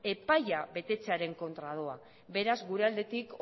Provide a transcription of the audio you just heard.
epaia betetzearen kontra doa beraz gure aldetik